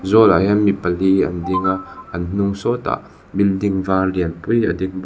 zawlah hian mi pali an ding a an hnung sawtah building var lian pui a ding bawk.